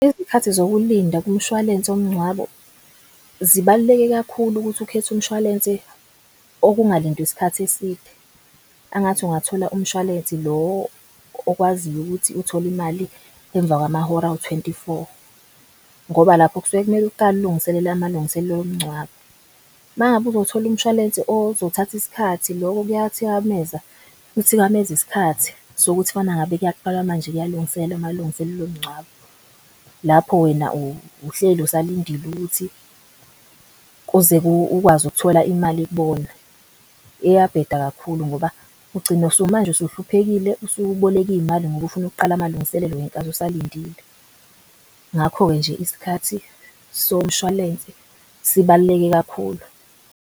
Izikhathi zokulinda kumshwalense womngcwabo zibaluleke kakhulu ukuthi ukhethe umshwalense okungalindwa isikhathi eside. Angathi ungathola umshwalensi lo okwaziyo ukuthi uthole imali emva kwamahora awu-twenty four ngoba lapho kusuke kumele uqale ulungiselele amalungiselelo omngcwabo. Mangabe uzothola umshwalense ozothatha iskhathi loko kuyathikameza kuthikameza iskhathi sokuthi kufana ngabe kuyaqala manje kuyalungiselela amalungiselelo omngcwabo. Lapho wena uhleli usalindile ukuthi kuze ukwazi ukuthola imali kubona, iyabheda kakhulu ngoba ugcine manje usuhluphekile usuboleka imali ngoba ufuna ukuqala amalungiselelo ngenkathi usalindile. Ngakho-ke nje, isikhathi somshwalense sibaluleke kakhulu.